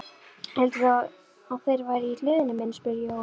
Hélduð þið að þeir væru í hlöðunni minni? spurði Jóhann.